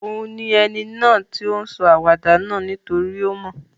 Òun ni eni náà to n sọ àwàdà náà nítorí o mo